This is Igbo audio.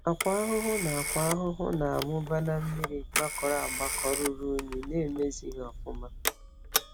Akwa ahụhụ na Akwa ahụhụ na amụba na mmiri gbakọrọ agbakọ ruru ịnyu na emezighi ọfụma